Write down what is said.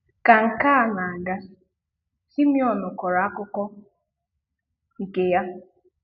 Ka nke a na-aga, Simone kọrọ akụkọ nke ya.